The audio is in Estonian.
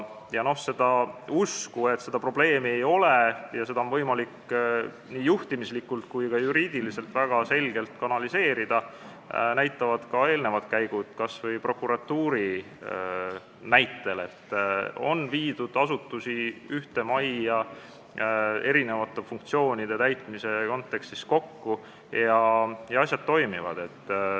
Seda, et siin probleemi ei ole ja seda teemat on võimalik nii juhtimislikult kui ka juriidiliselt väga selgelt kanaliseerida, näitab kas või prokuratuuris toimunu, kus asutusi on viidud erinevate funktsioonide täitmise kontekstis ühte majja kokku ja asjad toimivad.